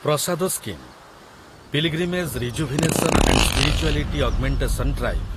Prasad scheme ,pilgrimage rejuvenation and spirituality augmentation drive